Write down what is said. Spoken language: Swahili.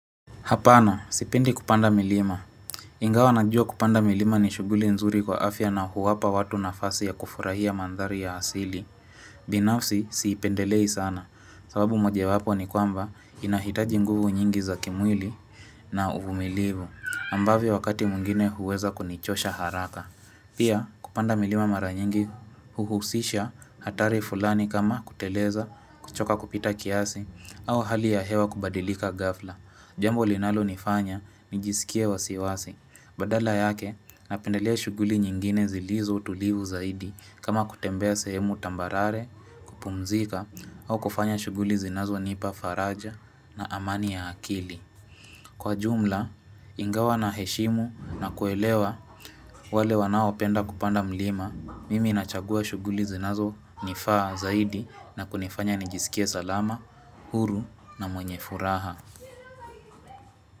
Hapana, sipendi kupanda milima. Ingawa najua kupanda milima ni shughuli nzuri kwa afya na huwapa watu nafasi ya kufurahia manthari ya asili. Binafsi, siipendelei sana. Sababu mojewapo ni kwamba inahitaji nguvu nyingi za kimwili na uvumilivu. Ambavyo wakati mwingine huweza kunichosha haraka. Pia kupanda milima mara nyingi huhusisha hatari fulani kama kuteleza, kuchoka kupita kiasi, au hali ya hewa kubadilika ghafla. Jambo linalonifanya, nijisikie wasiwasi. Badala yake, napendelea shughuli nyingine zilizo tulivu zaidi kama kutembea sehemu tambarare, kupumzika, au kufanya shughuli zinazonipa faraja na amani ya akili. Kwa jumla, ingawa naheshimu na kuelewa wale wanaopenda kupanda mlima, mimi nachagua shughuli zinazonifaa zaidi na kunifanya nijisikie salama, huru na mwenye furaha.